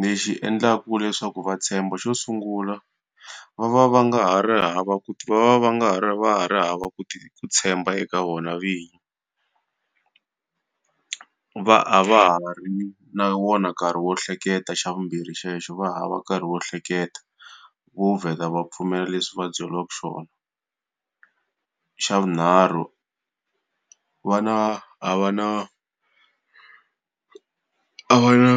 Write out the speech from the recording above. Lexi endlaku leswaku va tshemba xo sungula, va va va nga hava ku va va va nga ha ri va ha ri hava ku ku tshemba eka vona vinyi. Va a va ha ri na wona nkarhi wo hleketa xa vumbirhi xolexo va hava nkarhi wo hleketa, vo vheta va pfumela leswi va byeriwaka xona. Xa vunharhu va na a va na a va na